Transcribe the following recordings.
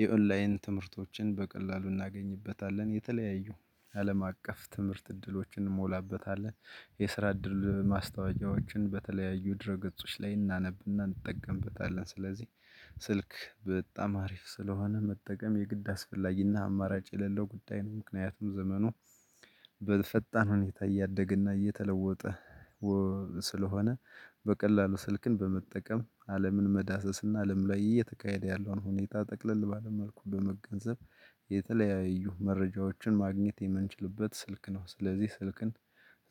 የኦላይን ትምህርቶችን በቀላሉ እናገኝበታለን። የተለያዩ አለም አቀፍ ትምህርት እድሎችን እንሞላበታለን። የስራ እድል ማስታወቂያዎችን በተለያዩ ድረ ገጾች ላይ እናነብና እንጠቀምበታለን። ስለዚህ ስልክ በጣም አሪፍ ስለሆነ መጠቀም የግድ አስፈላጊና አማራጭ የሌለው ጉዳይ ነው። ምክንያቱም ዘመኑ በፈጣን ሁኔታ እያደገና እየተለወጠ ስለሆነ በቀላሉ ስልክን በመጠቀም አለምን መዳሰስ እና አለም ለየት ያለ እየተካሄደ ያለውን ሁኔታ ጠቅለል ባለ መልኩ በመገንዘብ የተለያዩ መረጃዎችን ማግኘት የምንችልበት ስልክ ነው። ስለዚህ ስልክን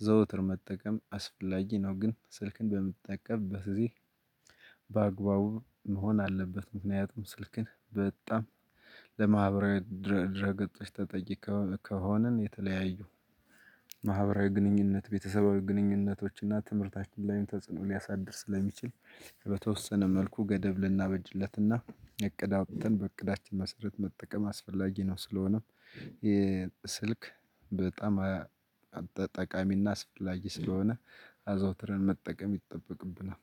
ዘወትር መጠቀም አስፈላጊ ነው። ግን ስልክን በምትጠቀምበት ጊዜ በአግባቡ መሆን አለበት። ምክንያቱም ስልክን በጣም ለማህበራዊ ድረ ገጾች ተጠቂ ከሆንን የተለያዩ ማህበራዊ ግንኙነት ቤተሰባዊ ግንኙነቶች እና ትምህርታችን ላይ ተጽዕኖ ሊያሳድር ስለሚችል በተወሰነ መልኩ ገደብ ልናበጅለትና እቅድ አውጥተን በእቅዳችን መሰረት መጠቀም አስፈላጊ ነው። ስለሆነም የስልክ በጣም ጠቃሚና አስፈላጊ ስለሆነ አዘውትረን መጠቀም ይጠበቅብናል።